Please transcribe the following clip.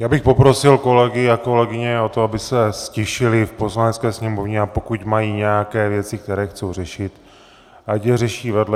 Já bych poprosil kolegy a kolegyně o to, aby se ztišili v Poslanecké sněmovně, a pokud mají nějaké věci, které chtějí řešit, ať je řeší vedle.